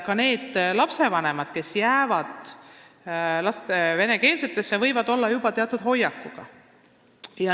Ka need lapsevanemad, kes on jäänud venekeelsete lasteaedade juurde, võivad olla juba teatud hoiakuga.